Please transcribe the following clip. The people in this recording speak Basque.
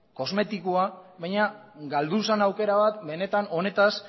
kosmetikoa baina galdu zen aukera bat benetan honetaz